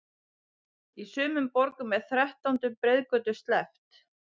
Í sumum borgum er þrettándu breiðgötu sleppt.